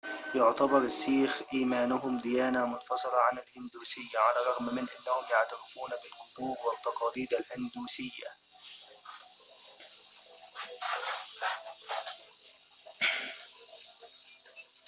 يعتبر السيخ إيمانهم ديانة منفصلة عن الهندوسية على الرغم من أنهم يعترفون بالجذور والتقاليد الهندوسية